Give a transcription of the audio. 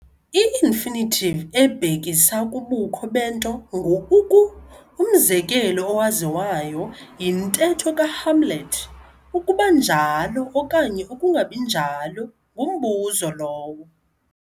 I-infinitive ebhekisa kubukho bento ngu-"uku". umzekelo owaziwayo yintetho kaHamlet- "ukuba njalo okanye ukungabinjalo, ngumbuzo lowo".